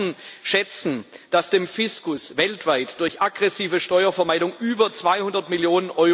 Experten schätzen, dass dem Fiskus weltweit durch aggressive Steuervermeidung über 200 Mio.